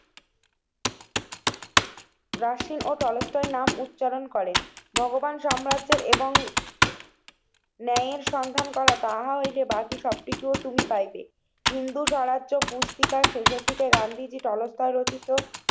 Rushing ও টলস্টের নাম উচ্চারণ করেন। ভগবান সাম্রাজ্যের এবং ন্যায়ের সন্ধান করা তা হয় যে বাকি সবটিগুলো তুমি পাইবে। হিন্দু স্বরাষ্ট্র, পুস্তিকার শেষের দিকে গান্ধীজি টলসটয় রচিত